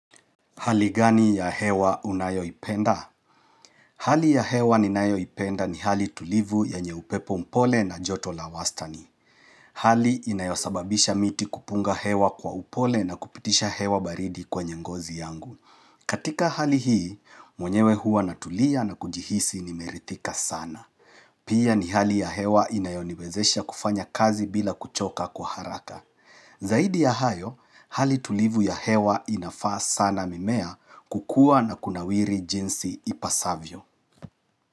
Hali gani ya hewa unayoipenda? Hali ya hewa ninayoipenda ni hali tulivu yenye upepo mpole na joto la wastani. Hali inayosababisha miti kupunga hewa kwa upole na kupitisha hewa baridi kwenye ngozi yangu. Katika hali hii, mwenyewe hua natulia na kujihisi nimerihtika sana. Pia ni hali ya hewa inayoniwezesha kufanya kazi bila kuchoka kwa haraka. Zaidi ya hayo, hali tulivu ya hewa inafaa sana mimea kukua na kunawiri jinsi ipasavyo.